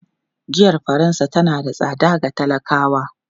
Giyar Faransa tana da tsada ga talakawa.